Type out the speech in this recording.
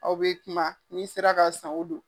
Aw be kuma n'i sera ka san o don.